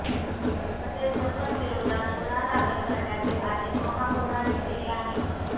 तसेच जफरविरोधात गुन्हा दाखल करण्याचे आदेश महापौरांनी दिले आहेत